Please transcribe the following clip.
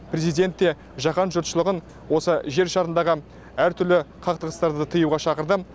президент те жаһан жұртшылығын осы жер шарындағы әр түрлі қақтығыстарды тыюға шақырды